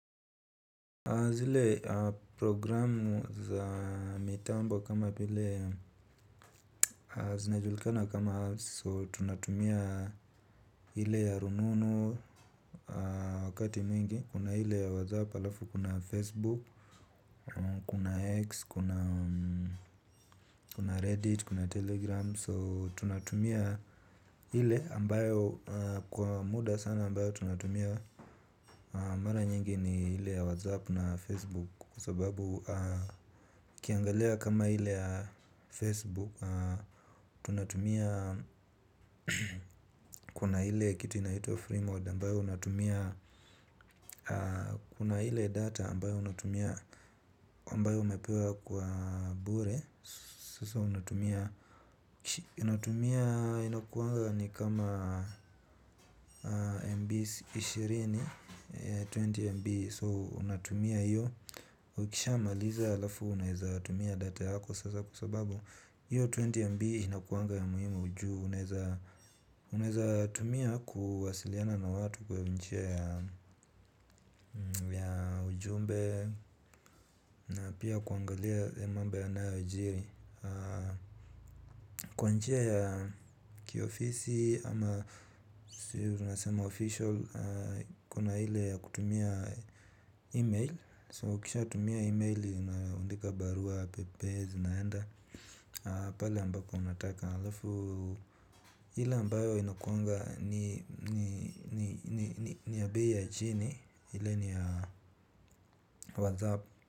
Zile programu za mitambo kama vile zinajulikana kama so tunatumia hile ya rununu wakati mingi. Kuna hile ya wazaap alafu kuna Facebook, kuna X, kuna Reddit, kuna Telegram So tunatumia hile ambayo kwa muda sana ambayo tunatumia mara nyingi ni hile ya wazaapu na Facebook. Kwa sababu ukiangalea kama hile Facebook Tunatumia kuna hile kitu inaitwa freemode. Kuna hile data ambao unatumia ambao umepewa kwa bure. Sasa unatumia unatumia inakuanga ni kama MB ishirini, ishirini MB So unatumia hiyo. Ukishama liza alafu unatumia data yako. Sasa kusababu hiyo 20MB na kuanga ya muhimu ujuu uneza tumia kuwasiliana na watu kwa nchia ya ujumbe. Na pia kuangalia mambo yanayojiri. Kwa nchia ya kiofisi ama tunasema official. Kuna hile ya kutumia email So kisha tumia email inaandika barua pepe zi naenda. Pale ambako unataka hile ambayo inakuangaa ni ya bei ya chini. Hile ni ya whatsapp.